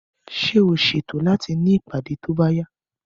Ṣé o ṣètò láti ní ìpàdé tó bá yá?